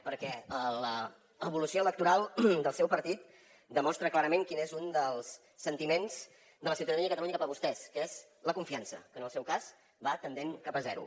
perquè l’evolució electoral del seu partit demostra clarament quin és un dels sentiments de la ciutadania de catalunya cap a vostès que és la confiança que en el seu cas va tendent cap a zero